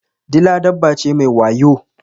Dila dabba ce mai wayo.